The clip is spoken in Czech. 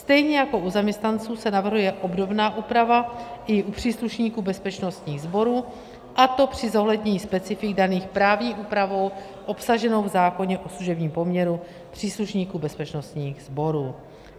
Stejně jako u zaměstnanců se navrhuje obdobná úprava i u příslušníků bezpečnostních sborů, a to při zohlednění specifik daných právní úpravou obsaženou v zákoně o služebním poměru příslušníků bezpečnostních sborů.